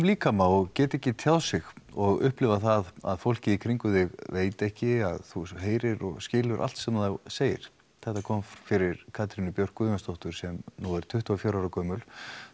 líkama og geta ekki tjáð sig og upplifa það að fólkið í kringum þig veit ekki að þú heyrir og skilur allt sem það segir þetta kom fyrir Katrínu Björk Guðjónsdóttur sem nú er tuttugu og fjögurra ára gömul